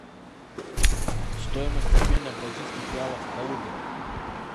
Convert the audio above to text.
стоимость обмена бразильских реалов в калуге